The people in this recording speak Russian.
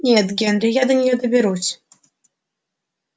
нет генри я до неё доберусь